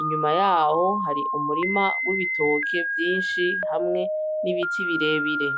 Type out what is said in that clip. inyuma yaho har'umurima w'ibitoki vyinshi hamwe n'ibiti birebire.